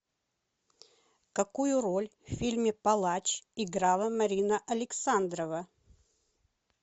какую роль в фильме палач играла марина александрова